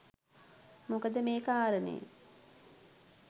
මොකද මේ කාරණය